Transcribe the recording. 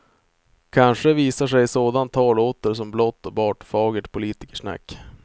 Kanske visar sig sådant tal åter som blott och bart fagert politikersnack.